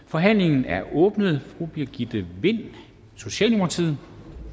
forhandlingen er åbnet fru birgitte vind socialdemokratiet